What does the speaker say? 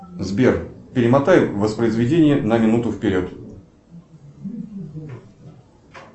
сбер перемотай воспроизведение на минуту вперед